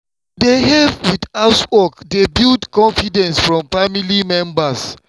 to dey help with housework dey build confidence from family members.